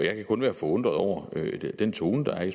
jeg kan kun være forundret over den tone der er i